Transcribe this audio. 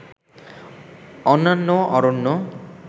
অন্যান্য অরণ্য